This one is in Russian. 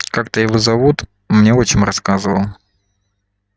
как-то его зовут мне отчим рассказывал